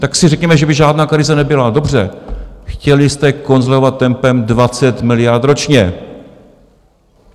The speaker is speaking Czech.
Tak si řekněme, že by žádná krize nebyla, dobře, chtěli jste konsolidovat tempem 20 miliard ročně!